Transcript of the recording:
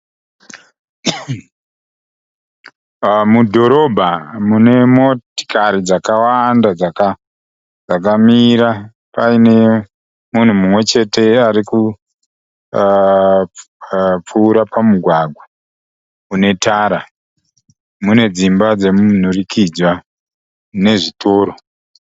Mudhorobha mune motikari dzakawanda dzakamira. Paine munhu mumwe chete ari kupfuura pamugwagwa une tara. Mune dzimba dzemunhurikidzwa nezvitoro.